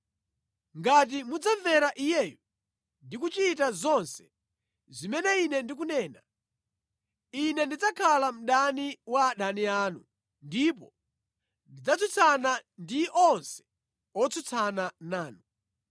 Ngati mudzamvera iyeyu ndi kuchita zonse zimene Ine ndikunena, Ine ndidzakhala mdani wa adani anu ndipo ndidzatsutsana ndi onse otsutsana nanu.